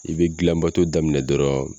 I be gilan bato daminɛ dɔrɔn